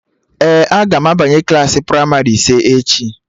Ee, aga m abanye klaasị pramarị ise echi